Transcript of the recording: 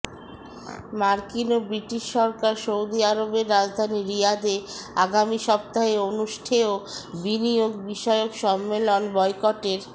মার্কিন ও ব্রিটিশ সরকার সৌদি আরবের রাজধানী রিয়াদে আগামী সপ্তাহে অনুষ্ঠেয় বিনিয়োগ বিষয়ক সম্মেলন বয়কটের